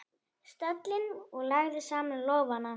stólinn og lagði saman lófana.